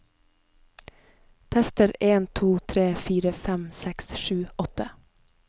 Tester en to tre fire fem seks sju åtte